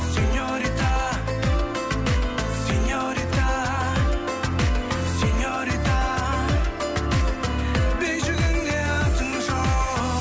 сеньорита сеньорита сеньорита бейджігіңде атың жоқ